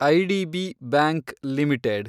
IDB bank limited